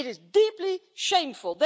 It is deeply shameful.